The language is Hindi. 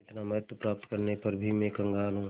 इतना महत्व प्राप्त करने पर भी मैं कंगाल हूँ